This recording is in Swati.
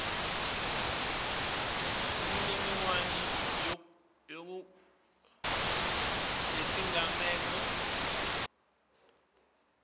imininingwane yetigameko itfutfuka